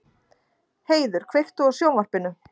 Heiður, kveiktu á sjónvarpinu.